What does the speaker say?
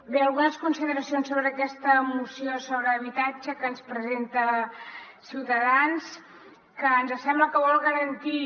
bé algunes consideracions sobre aquesta moció sobre habitatge que ens presenta ciutadans que ens sembla que vol garantir